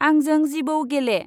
आंजों जिवौ गेले।